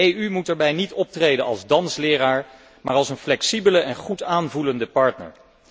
De EU moet daarbij niet optreden als dansleraar, maar als een flexibele en goed aanvoelende partner.